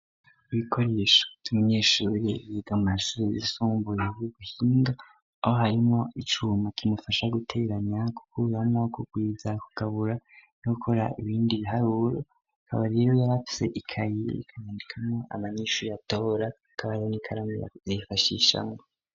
Ibikoresha tumenyeshuire yiga mu mashure zisumbuyebw'uguhinga aho harimo icuma kimufasha guteranya, kuko uwamwa wo kugwiza kugabura no gukora ibindi biharuro kabariro yarafse ikayiye ikayandikamwo amanyishuyeatora kabaro n'ikaramu yazifashishamwo.